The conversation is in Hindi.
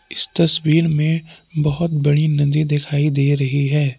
इस तस्वीर में बहुत बड़ी नदी दिखाई दे रही है।